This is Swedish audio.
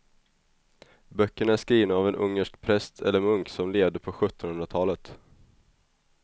Böckerna är skrivna av en ungersk präst eller munk som levde på sjuttonhundratalet.